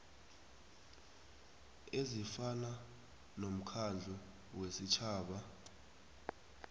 ezifana nomkhandlu wesitjhaba